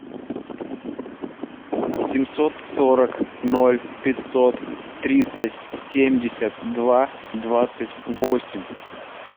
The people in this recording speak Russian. семьсот сорок ноль пятьсот тридцать семьдесят два двадцать восемь